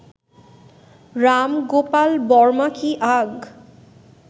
রাম গোপাল বর্মা কি আগ